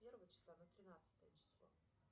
первого числа на тринадцатое число